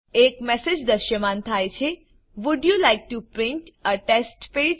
એક મેસેજ દ્રશ્યમાન થાય છે would you like to print a test page